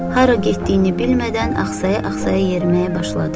Hara getdiyini bilmədən axsaya-axsaya yerməyə başladı.